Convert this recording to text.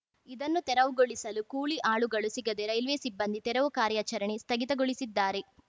ಇದನ್ನು ತೆರವುಗೊಳಿಸಲು ಕೂಲಿ ಆಳುಗಳು ಸಿಗದೆ ರೈಲ್ವೆ ಸಿಬ್ಬಂದಿ ತೆರವು ಕಾರ್ಯಾಚರಣೆ ಸ್ಥಗಿತಗೊಳಿಸಿದ್ದಾರೆ